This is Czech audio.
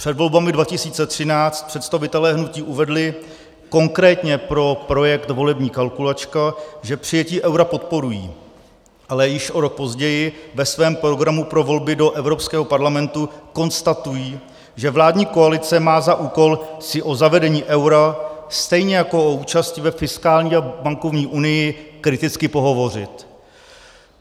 Před volbami 2013 představitelé hnutí uvedli, konkrétně pro projekt volební kalkulačka, že přijetí eura podporují, ale již o rok později ve svém programu pro volby do Evropského parlamentu konstatují, že vládní koalice má za úkol si o zavedení eura, stejně jako o účasti ve fiskální a bankovní unii, kriticky pohovořit.